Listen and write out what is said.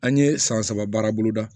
An ye san saba baarabolo da